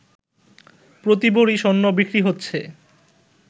প্রতি ভরি স্বর্ণ বিক্রি হচ্ছে